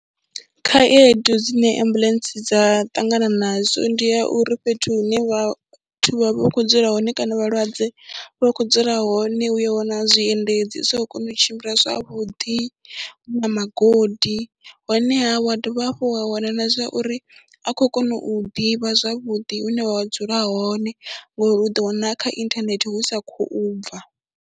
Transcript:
Khaedu dzine ambuḽentse dza ṱangana nazwo ndi ya uri fhethu hune vha vha vha kho dzula hone kana vhalwadze vha khou dzula hone u ya wana zwiendedzi zwi sa khou kona u tshimbila zwavhuḓi, hu magodi honeha wa dovha hafhu wa wana na zwa uri ha khou kona u hu ḓivha zwavhuḓi hune wa dzula hone ngori u ḓo wana a kha inthanethe hu sa khou bva.